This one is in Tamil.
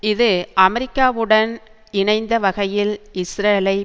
இது அமெரிக்காவுடன் இணைந்த வகையில் இஸ்ரேலை